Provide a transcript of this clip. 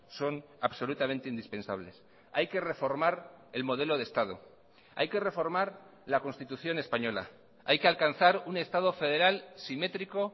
son absolutamente indispensables hay que reformar el modelo de estado hay que reformar la constitución española hay que alcanzar un estado federal simétrico